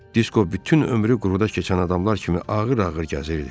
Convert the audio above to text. Disko bütün ömrü quruda keçən adamlar kimi ağır-ağır gəzirdi.